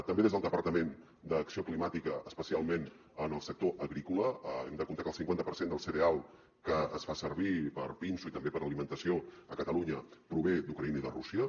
també des del departament d’acció climàtica especialment en el sector agrícola hem de comptar que el cinquanta per cent del cereal que es fa servir per pinso i també per a alimentació a catalunya prové d’ucraïna i de rússia